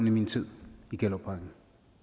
i min tid i gellerupparken